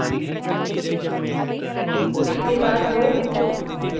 u enter करें